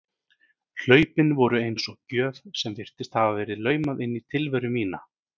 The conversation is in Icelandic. Hlaupin voru eins og gjöf sem virtist hafa verið laumað inn í tilveru mína.